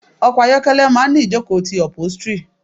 Ọkọ̀ ayokele máa ń ìjókòó ti upholstery.